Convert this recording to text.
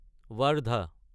Wardha